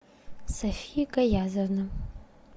софия каязовна